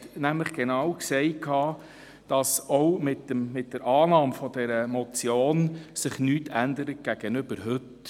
Er hat nämlich genau gesagt, dass sich auch mit der Annahme dieser Motion gegenüber heute nichts ändert.